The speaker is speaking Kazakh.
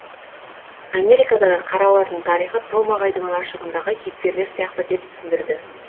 америкадағы қаралардың тарихы том ағайдың лашығындағы кейіпкерлер сияқты деп түсіндірді